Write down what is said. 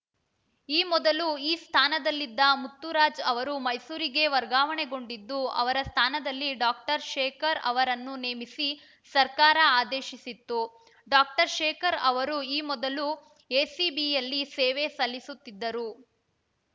ಈ ಮೊದಲು ಈ ಸ್ಥಾನದಲ್ಲಿದ್ದ ಮುತ್ತುರಾಜ್‌ ಅವರು ಮೈಸೂರಿಗೆ ವರ್ಗಾವಣೆಗೊಂಡಿದ್ದು ಅವರ ಸ್ಥಾನದಲ್ಲಿ ಡಾಕ್ಟರ್ ಶೇಖರ್‌ ಅವರನ್ನು ನೇಮಿಸಿ ಸರ್ಕಾರ ಆದೇಶಿಸಿತ್ತು ಡಾಕ್ಟರ್ ಶೇಖರ್‌ ಅವರು ಈ ಮೊದಲು ಎಸಿಬಿಯಲ್ಲಿ ಸೇವೆ ಸಲ್ಲಿಸುತ್ತಿದ್ದರು